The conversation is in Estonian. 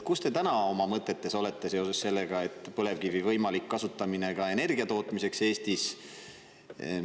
Kus te täna oma mõtetes olete, kas põlevkivi võiks Eestis kasutada ka energia tootmiseks?